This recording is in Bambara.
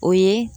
O ye